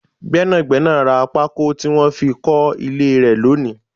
Gbẹ́nàgbẹ́nà rá pako tí wọn fi kọ ilé rẹ lónìí